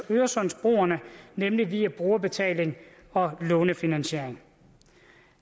øresundsbroen nemlig via brugerbetaling og lånefinansiering